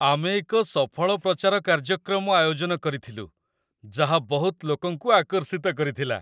ଆମେ ଏକ ସଫଳ ପ୍ରଚାର କାର୍ଯ୍ୟକ୍ରମ ଆୟୋଜନ କରିଥିଲୁ, ଯାହା ବହୁତ ଲୋକଙ୍କୁ ଆକର୍ଷିତ କରିଥିଲା।